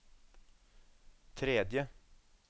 tredje